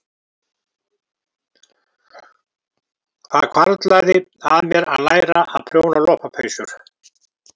Það hvarflaði að mér að læra að prjóna lopapeysur.